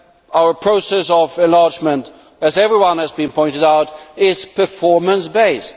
Our process of enlargement, as everyone has been pointing out, is performance based.